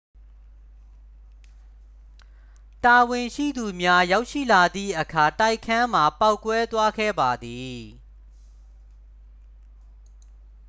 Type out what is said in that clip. တာဝန်ရှိသူများ ရောက်ရှိလာသည့်အခါ တိုက်ခန်းမှာပေါက်ကွဲသွားခဲ့ပါသည်